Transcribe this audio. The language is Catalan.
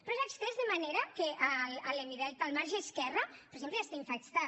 però s’ha estès de manera que a l’hemidelta del marge esquerre per exemple està infectat